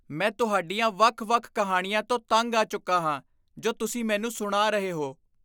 ਮੈਂ ਤੁਹਾਡੀਆਂ ਵੱਖ ਵੱਖ ਕਿਹਾਣੀਆਂ ਤੋਂ ਤੰਗ ਆ ਚੁੱਕਾ ਹਾਂ ਜੋ ਤੁਸੀਂ ਮੈਨੂੰ ਸੁਣਾ ਰਹੇ ਹੋ